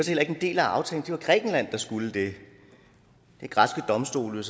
heller ikke en del af aftalen det var grækenland der skulle det græske domstole